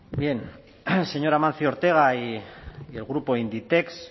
bien señor amancio ortega y el grupo inditex